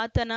ಆತನ